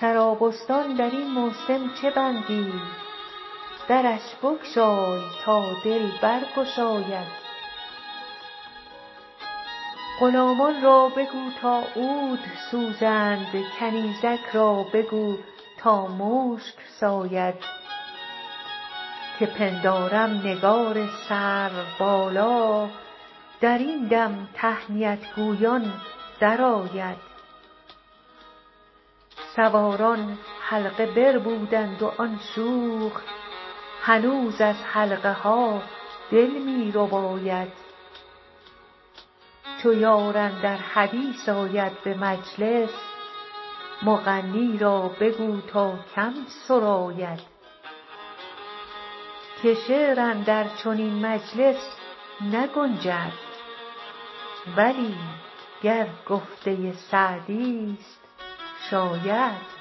سرابستان در این موسم چه بندی درش بگشای تا دل برگشاید غلامان را بگو تا عود سوزند کنیزک را بگو تا مشک ساید که پندارم نگار سروبالا در این دم تهنیت گویان درآید سواران حلقه بربودند و آن شوخ هنوز از حلقه ها دل می رباید چو یار اندر حدیث آید به مجلس مغنی را بگو تا کم سراید که شعر اندر چنین مجلس نگنجد بلی گر گفته سعدیست شاید